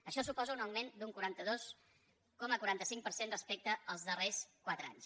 això suposa un augment d’un quaranta dos coma quaranta cinc per cent respecte als darrers quatre anys